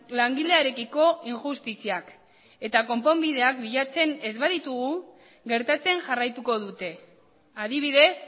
langilearekiko injustiziak eta konponbideak bilatzen ez baditugu gertatzen jarraituko dute adibidez